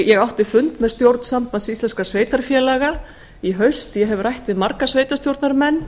ég átti fund með stjórn sambands íslenskum sveitarfélaga í haust ég hef rætt við marga sveitarstjórnarmenn